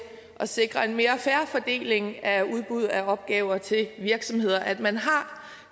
sikre en mere fair fordeling af udbud af opgaver til virksomheder at man har